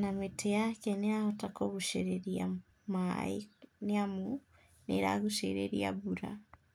na mĩtĩ yake nĩ ĩrahota kũgũcĩrĩria maaĩ nĩ amũ nĩ ĩragũcĩrĩria mbura.